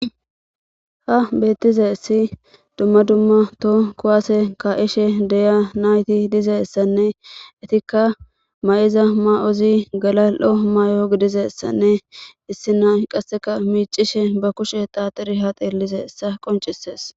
Ha beettize issi dumma dumma to kuwaase ka'ishe deya nayti dizessanne itikka ma'iza ma'ozi galal7o may'o gidizessanne issi nay qasseka miicishe ba kushe taaxiri ha xeellize ssa qoncisees.